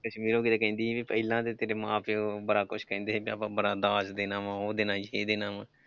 ਕਸ਼ਮੀਰੋ ਕਿਤੇ ਕਹਿੰਦੀ ਵੀ ਪਹਿਲਾਂ ਤਾਂ ਤੇਰੇ ਮਾਂ ਪਿਓ ਬੜਾ ਕੁਛ ਕਹਿੰਦੇ ਸੀ ਕਿ ਆਪਾਂ ਬੜਾ ਦਾਜ ਦੇਣਾ ਵਾਂ ਉਹ ਦੇਣਾ ਜਿਹ ਦੇਣਾ ਵਾਂ।